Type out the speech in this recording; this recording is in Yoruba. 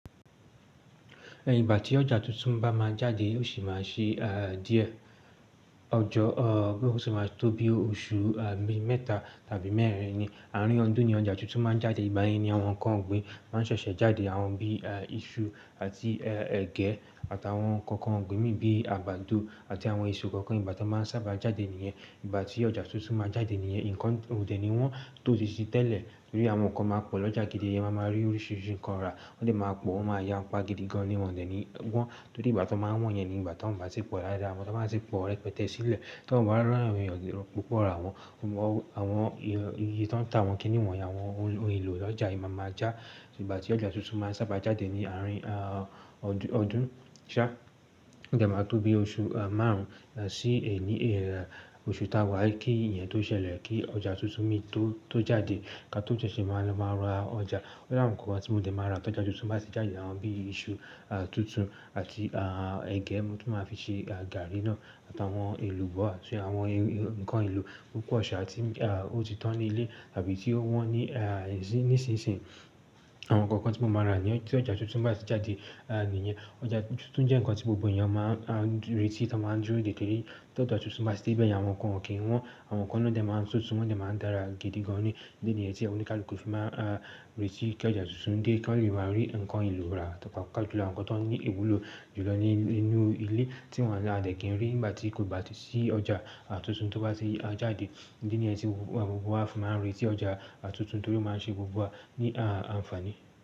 Ẹ̀yin ìgbà tí ọjà tuntun bá máa jáde yóò sì máa ṣe díẹ̀, ó sì máa tó bí oṣù mẹ́ta tàbí mẹ́rin ni. Àárín ọdún ni ọjà tuntun máa ń jáde. Ìgbá yẹn ni àwọn ǹkan ọ̀gbìn máa ń ṣẹ̀ṣẹ̀ jáde, àwọn bí iṣu àti ẹ̀gẹ́ àtàwọn ǹkan kan ọ̀gbìn mí, bíi àgbàdo àti àwọn èso kankan ìgbà tí wọ́n maa sábà jáde nìyẹn. Ìgbà tí ọjà tuntun máa jáde nìyẹn, ǹkan òde ni wọ́n tò tí i tẹ́lẹ̀ torí àwọn ǹkan máa pọ̀ lọ́jà gidi yẹn, eyan máa rí oríṣiríṣi ǹkan rà, wọ́n de máa pọ̀, wọ́n máa ya ń pa gidi gan-an ní wọ́n dẹ̀ ni wọ́n. Torí ìgbà tí wọ́n maa won yẹn ni ìgbà tí wọ́n bá tì pọ̀ dáda, àmo tí wọ́n bá tì pọ̀ rẹpẹtẹ sílẹ̀, tí wọ́n bá ń ri awon eeyan ọ̀pọ̀ ràwọn, àwọn iye tí wọ́n ń tà awọ́n kì ní wọ́n yen àwọn ohun èlò ọjà yen máa ma já. Ìgbà tí ọjà tuntun máa ń sábà jáde ni àárín ọdún sá, ó de máa tó bí oṣù márùn-ún, sí ì oṣù ta wá kí eyẹn tó ṣẹlẹ̀ kí ọjà tuntun mí tó jáde ká tó sẹ́ ṣé máa lọ máa ra ọjà. Tori awon nǹkan tí mo dẹ̀ máa ra lọ́jà tuntun bá sì jáde, àwọn bíi iṣu tuntun àti ẹ̀gẹ́ tí màá fi ṣe gàárí náà àtàwọn èlùbọ́ àti àwọn ǹkan èlò púpọ̀ ṣa ti ó ti tán ní ilé tàbí tí ó wọ́n níṣinsinyì. Àwọn ǹkan kan tí mo máa rà ní ọjà tí ọjà tuntun bá sì jáde nìyẹn. Ọjà tuntun jẹ́ ǹkan tí gbogbo èèyàn máa ń retí tí wọ́n máa ń dúró dè tẹ́lẹ̀. Tí ọjà tuntun bá sì dé bẹ́ẹ̀ yen àwọn ǹkan kò kí wọ́n, àwọn ǹkan òde máa ń ṣóòtú, wọ́n de máa ń dára gidi gan-an ní. Idi niyẹn tí olukaluku fi máa n retí kí ọjà tuntun dé kí ó lè máa rí ǹkan èlò rà tàbí paapa ju àwọn ǹkan tó ní ìwúlò jùlọ nínú ilé tí wọ́n láì dẹ̀ kí ń rí nígbà tí kò bá sì sí ọjà tuntun tó bá tì jáde. Idi niyẹn tí gbogbo wa fi máa ń retí ọjà tuntun torí ó máa ń ṣe gbogbo wa ní àǹfààní.